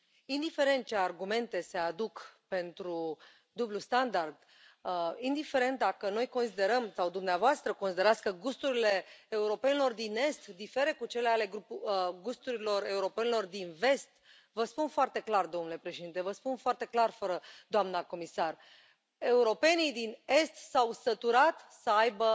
Indiferent ce argumente se aduc pentru dublul standard, indiferent dacă noi considerăm sau dumneavoastră considerați că gusturile europenilor din est diferă de gusturile europenilor din vest, vă spun foarte clar, domnule președinte, vă spun foarte clar, doamna comisar, europenii din est s au săturat să aibă